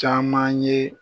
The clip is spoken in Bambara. Caman ye